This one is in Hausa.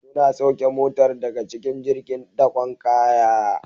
Suna sauke Motar daga cikin jirgin dakon kaya